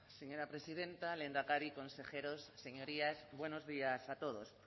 señora presidenta lehendakari consejeros señorías buenos días a todos